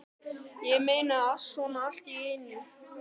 Ég meina, svona allt í einu?